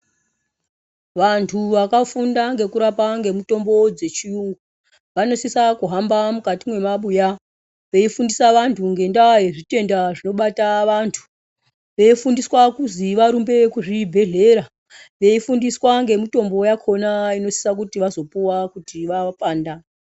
Vanthu vakafunda ngekurapa, ngemitombo dzechiyungu, vanosisa kuhamba mukati mwemabuya, veifundisa vanthu ngendaa yezvitenda zvinobata vanthu. Veifundisa kuzwi varumbe kuzvibhedhlera, veifundiswa ngemitombo yakhona inosisa kuti vazopuwa kuti wavapanda.